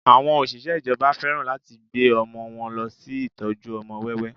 Àwọn Òṣìṣẹ́ ìjọba fẹ́ràn láti gbé ọmọ wọn lọ sí ìtọ́jú ọmọ wẹ́wẹ́